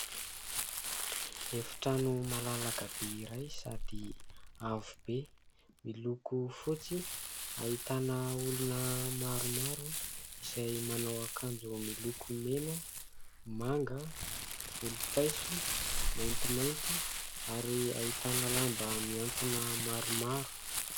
Efitrano malalaka be iray sady avo be miloko fotsy ahitana olona maromaro izay manao akanjo miloko mena, manga, volom-paiso, maintimainty ary ahitana lamba mihantona maromaro.